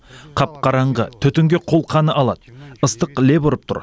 қап қараңғы түтінге қолқаны алады ыстық леп ұрып тұр